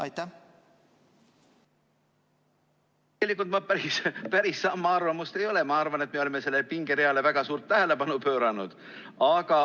Tegelikult ma päris samal arvamusel ei ole, ma arvan, et me oleme sellele pingereale väga suurt tähelepanu pööranud.